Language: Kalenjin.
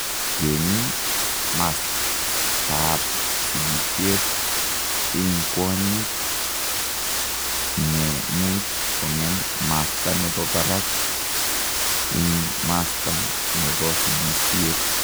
Ngeme mastaap sigishet ing kwonyink ne much kongem masta nepo parak ing masta nopo sigisiet.